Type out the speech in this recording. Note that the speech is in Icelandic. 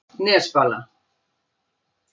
Nesbala